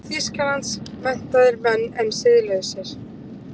Þýskalands, menntaðir menn en siðlausir.